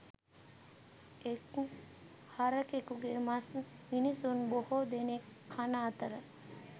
එක් හරකෙකුගේ මස් මිනිසුන් බොහෝ දෙනෙක් කන අතර